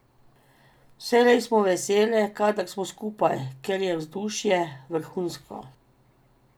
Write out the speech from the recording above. Vselej smo vesele, kadar smo skupaj, ker je vzdušje vrhunsko.